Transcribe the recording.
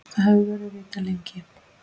Það hefur verið vitað lengi.